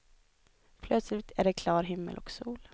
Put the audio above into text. Plötsligt är det klar himmel och sol.